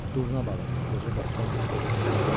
Durna balığı, qoca bərkdən qışqırdı.